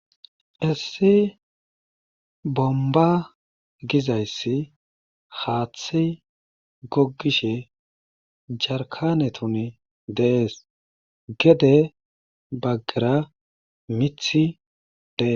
Issi Bomba gizaysi haathey gogishe jarkanetun de'esi, gede bagara mithy de'esi.